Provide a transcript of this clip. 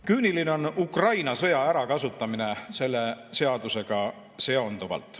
Küüniline on Ukraina sõja ärakasutamine selle seadusega seonduvalt.